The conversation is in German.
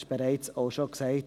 Dies wurde bereits gesagt.